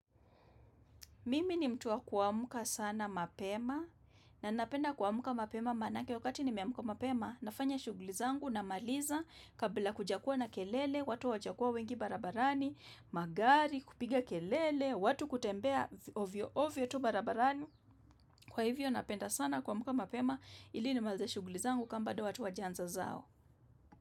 Mimi ni mtu wa kuamka sana mapema na napenda kuamka mapema maanake wakati nimeamka mapema, nafanya shughuli zangu namaliza, kabla hakujakuwa na kelele, watu hawajakuwa wengi barabarani, magari, kupiga kelele, watu kutembea ovyo ovyo tu barabarani kwa hivyo napenda sana kuamka mapema ili nimalize shughuli zangu kama bado watu hawajaanza zao.